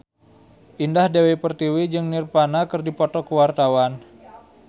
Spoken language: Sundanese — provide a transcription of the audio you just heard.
Indah Dewi Pertiwi jeung Nirvana keur dipoto ku wartawan